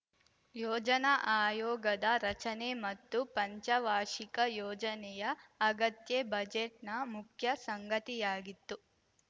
ಯೋಜನಾ ಆಯೋಗದ ರಚನೆ ಮತ್ತು ಪಂಚವಾರ್ಷಿಕ ಯೋಜನೆಯ ಅಗತ್ಯ ಬಜೆಟ್‌ನ ಮುಖ್ಯ ಸಂಗತಿಯಾಗಿತ್ತು